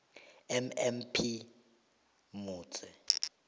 mm p moitse